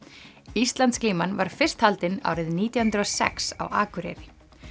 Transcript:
Íslandsglíman var fyrst haldin árið nítján hundruð og sex á Akureyri